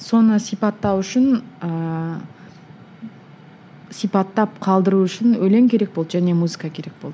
соны сипаттау үшін ыыы сипаттап қалдыру үшін өлең керек болды және музыка керек болды